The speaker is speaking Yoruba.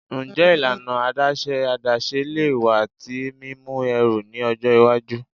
Njẹ ilana adaṣe adaṣe le wa ti mimu ẹru ni ọjọ iwaju?